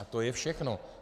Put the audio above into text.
A to je všechno.